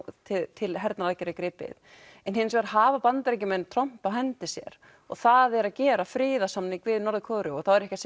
til hernaðaraðgerða er gripið en hins vegar hafa Bandaríkjamenn tromp á hendi sér og það er að gera friðarsamning við Norður Kóreu og þá er ég ekki